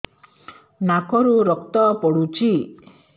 ନାକରୁ ରକ୍ତ ପଡୁଛି